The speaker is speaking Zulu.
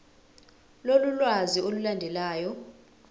lolu lwazi olulandelayo